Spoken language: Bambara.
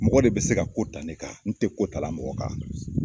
Mɔgɔ de bi se ka ko ta ne kan, n tɛ ko ta la mɔgɔ kan